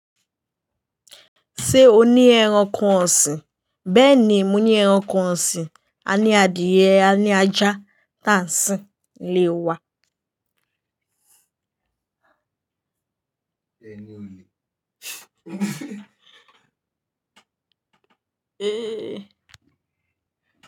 Ṣé o ní ẹranko ọ̀sìn? Bẹ́ẹ̀ni, mo ní ẹranko ọ̀sìn. A ní adìẹ, a ní ajá, tánṣí, ilé wa. Ẹni ole?